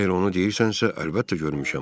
Əgər onu deyirsənsə, əlbəttə görmüşəm.